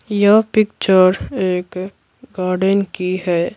यह पिक्चर एक गार्डन की है।